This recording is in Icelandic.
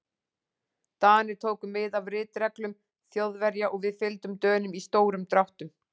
Danir tóku mið af ritreglum Þjóðverja og við fylgdum Dönum í stórum dráttum.